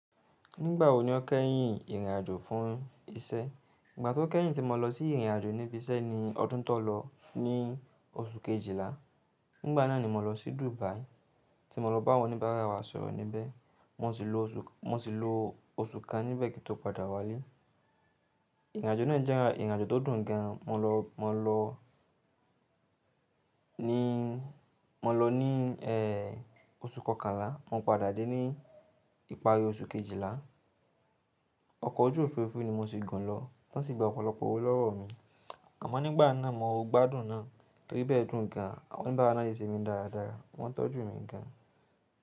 Nígbà wo ni o kẹ́yìn ìrìn àjò fún iṣẹ́? Ìgbà tí mo kẹ́yìn tí mo lọ sí ìrìn àjò níbi iṣẹ́ ni ọdún tó lọ ní oṣù Kejìlá. Nígbà náà ni mo lọ sí Dubai. Tí mo lọ bá wọn oníbárà wa sọ̀rọ̀ níbẹ̀. Mo sì lo oṣù kan níbẹ̀ kí n tó padà wá ilé. Ìrìn àjò náà jẹ́ ìrìn àjò tó dùn gan. Mo lọ ní oṣù kọkànlá, mo ń padà dé ní ìparí oṣù Kejìlá. Ọkọ̀ ojú òfuurufú ni mo sì gùn lọ, wọn sì gba ọ̀pọ̀lọpọ̀ owó lọ́wọ́ mi. Àmọ́ nígbà náà mo gbádùn náà torí ibẹ̀ dùn gan, àwọn oníbàárà náà sì se mí dáradára, wọ́n tọ́jú mi gan.